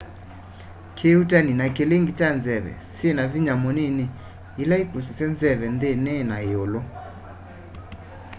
kĩuutani ni kilinge cha nzeve nyina vinya mũnini ila ikusasya nzeve nthini na iũlu